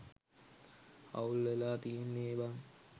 අවුල් වෙලා තියෙන්නේ බං